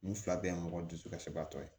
N fila bɛɛ ye mɔgɔ dusukasiba tɔ ye